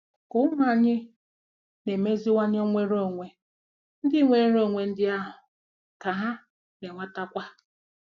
Ka ụmụ anyị na-emeziwanye nwere onwe ndị nwere onwe ndị ahụ, ka ha na-enwetakwa